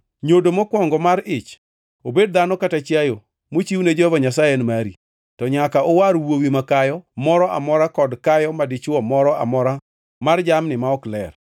Nyodo mokwongo mar ich, obed dhano kata chiayo, mochiwne Jehova Nyasaye en mari. To nyaka uwar wuowi makayo moro amora kod kayo madichwo moro amora mar jamni ma ok ler.